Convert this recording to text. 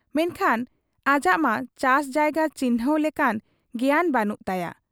ᱢᱮᱱᱠᱷᱟᱱ ᱟᱡᱟᱜ ᱢᱟ ᱪᱟᱥ ᱡᱟᱭᱜᱟ ᱪᱤᱱᱦᱟᱺᱣ ᱞᱮᱠᱟᱱ ᱜᱮᱭᱟᱱ ᱵᱟᱹᱱᱩᱜ ᱛᱟᱭᱟ ᱾